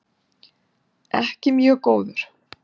Ekki mjög góður.